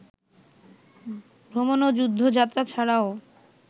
ভ্রমণ ও যুদ্ধযাত্রা ছাড়াও